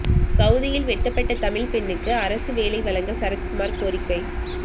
சவூதியில் வெட்டப்பட்ட தமிழ்ப்பெண்ணுக்கு அரசு வேலை வழங்க சரத்குமார் கோரிக்கை